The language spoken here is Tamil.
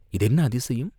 இது என்ன அதிசயம்?